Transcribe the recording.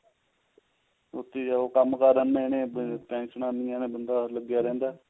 ਸੋਚੀ ਜਾਓ ਕੰਮ ਕਰ ਇੰਨੇ ਨੇ ਟੇਂਸ਼ਨਾ ਇੰਨੀਆਂ ਨੇ ਬੰਦਾ ਲੱਗਿਆ ਰਹਿੰਦਾ